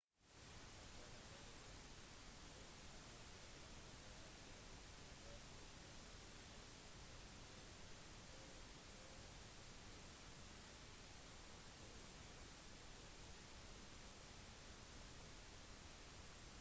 kapselen reiser 12,8 kilometer eller 8 kilometer i sekundet fort nok til å komme fra san francisco til los angeles på ett minutt